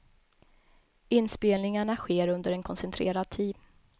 Inspelningarna sker under en koncentrerad tid.